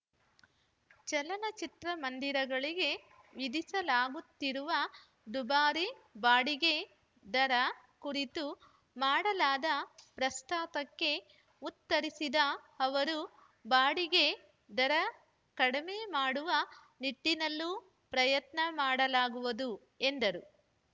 ಚಲನಚಿತ್ರ ಮಂದಿರಗಳಿಗೆ ವಿಧಿಸಲಾಗುತ್ತಿರುವ ದುಬಾರಿ ಬಾಡಿಗೆ ದರ ಕುರಿತು ಮಾಡಲಾದ ಪ್ರಸ್ತಾಪಕ್ಕೆ ಉತ್ತರಿಸಿದ ಅವರು ಬಾಡಿಗೆ ದರ ಕಡಿಮೆ ಮಾಡುವ ನಿಟ್ಟಿನಲ್ಲೂ ಪ್ರಯತ್ನ ಮಾಡಲಾಗುವುದು ಎಂದರು